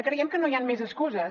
creiem que no hi han més excuses